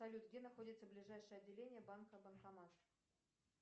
салют где находится ближайшее отделение банка банкомат